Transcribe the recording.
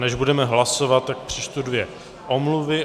Než budeme hlasovat, tak přečtu dvě omluvy.